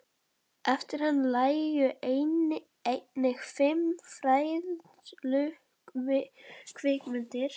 Eftir hann lægju einnig fimm fræðslukvikmyndir.